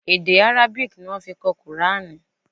Èdè Arabic ni wọ́n fi kọ kùránì.